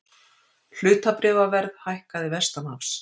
Hlutabréfaverð hækkaði vestanhafs